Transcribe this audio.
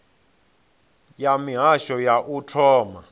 ya mihasho ya u thoma